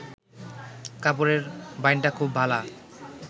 কাপড়ের বাইনটা খুব ভালা